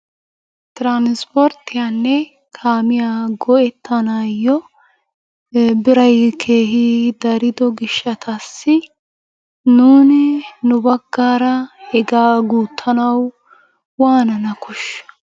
Transporttiyanne kaamiya go'ettanaayo biray keehi darido gishshataassi nuuni nu baggaara hegaa guuttanawu waanana koshshiyo?